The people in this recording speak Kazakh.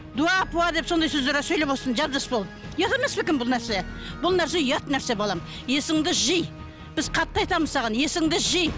дуа пуа деп сондай сөздер сөйлеп отырсың жап жас болып ұят емес пе екен бұл нәрсе бұл нәрсе ұят нәрсе балам есіңді жи біз қатты айтамыз саған есіңді жи